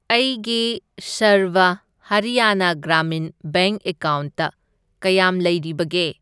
ꯑꯩꯒꯤ ꯁꯔꯚ ꯍꯔꯤꯌꯥꯅꯥ ꯒ꯭ꯔꯥꯃꯤꯟ ꯕꯦꯡꯛ ꯑꯦꯀꯥꯎꯟꯠꯇ ꯀꯌꯥꯝ ꯂꯩꯔꯤꯕꯒꯦ?